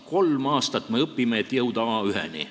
Kolm aastat me õpime, et jõuda A1-ni.